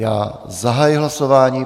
Já zahajuji hlasování.